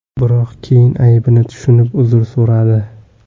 Biroq keyin aybini tushunib, uzr so‘radi.